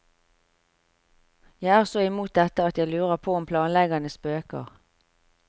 Jeg er så imot dette at jeg lurer på om planleggerne spøker.